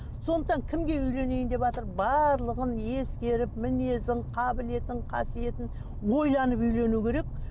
сондықтан кімге үйленейін деватыр барлығын ескеріп мінезін қабілетін қасиетін ойланып үйлену керек